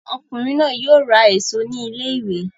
Ọkùnrin náà yóò ra èso ní ilé-ìwé!